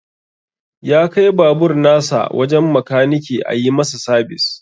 Ya kai babur nasa wajen makaniki ayi masa sabis.